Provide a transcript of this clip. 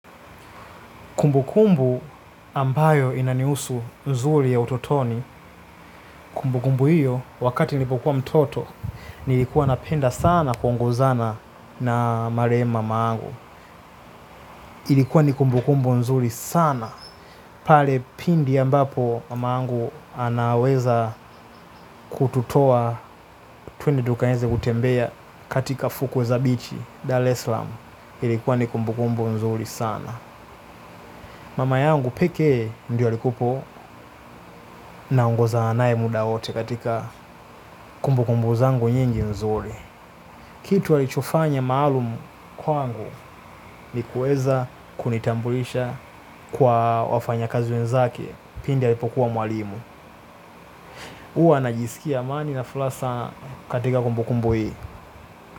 Kumbukumbu ambayo inanihusu nzuri ya utotoni, kumbukumbu hiyo, wakati nilipokuwa mtoto, nilikuwa napenda sana kuongozana na marehemu mamangu. Ilikuwa ni kumbukumbu nzuri sana, pale pindi ambapo mamangu anaweza kututoa tuende tukaeze kutembea katika fukwe za bichi, Dal Eslam. Ilikuwa ni kumbu kumbu nzuri sana. Mama yangu peke ndio alikuwepo naongozana naye muda wote katika kumbukumbu zangu nyingi nzuri. Kitu alichofanya maalumu kwangu ni kueza kunitambulisha kwa wafanyakazi wenzake pindi alipokuwa mwalimu. Huwa najisikia amani na flaha sana katika kumbukumbu hii.